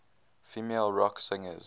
female rock singers